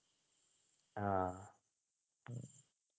ആഹ്